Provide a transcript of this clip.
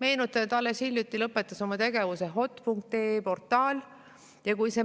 Meenutame, et alles hiljuti lõpetas oma tegevuse hot.ee portaal, ja kui see